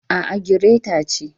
A'a, gireta ce.